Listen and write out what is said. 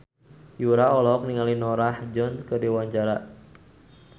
Yura olohok ningali Norah Jones keur diwawancara